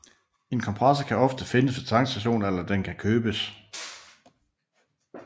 En kompressor kan ofte findes ved tankstationer eller den kan købes